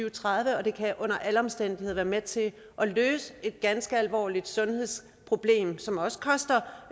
og tredive og det kan under alle omstændigheder være med til at løse et ganske alvorligt sundhedsproblem som også koster